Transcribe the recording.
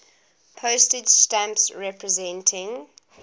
postage stamps representing